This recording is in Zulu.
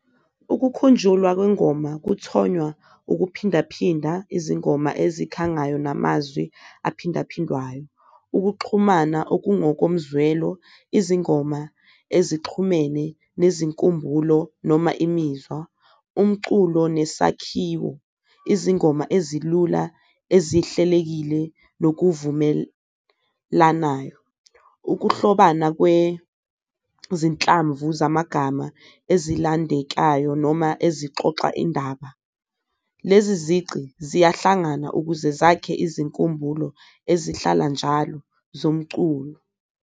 Ukukhunjulwa kwengoma kuthonywa ukuphindaphinda izingoma ezikhangayo namazwi aphindaphindwayo, ukuxhumana okungokomzwelo, izingoma ezixhume nezinkumbulo noma imizwa. Umculo nesakhiwo, izingoma ezilula ezihlelekile nokuvumelanayo, ukuhlobana kwezihlambu zamagama ezilandekayo noma ezixoxa indaba, lezi zici ziyahlangana ukuze zakhe izinkumbulo ezihlala njalo zomculo.